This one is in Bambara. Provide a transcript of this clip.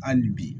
Hali bi